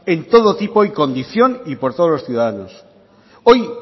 en todo tipo y condición y por todos los ciudadanos hoy